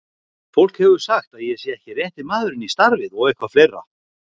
Fólk hefur sagt að ég sé ekki rétti maðurinn í starfið og eitthvað fleira